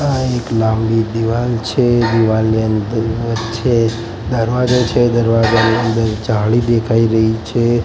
આ એક લાંબી દિવાલ છે દિવાલની અંદર વચ્ચે દરવાજા છે દરવાજાની અંદર જાળી દેખાય રહી છે.